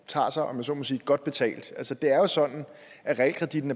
tager sig om jeg så må sige godt betalt altså det er jo sådan at realkreditten